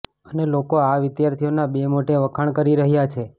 અને લોકો આ વિદ્યાર્થીઓનાં બે મોઢે વખાણ કરી રહ્યા છે